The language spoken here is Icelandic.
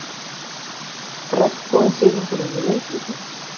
Regnbogasilungurinn í leikriti